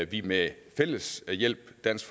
vi med fælles hjælp dansk